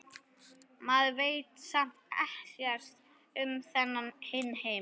Maður veit samt ekkert um þennan hinn heim.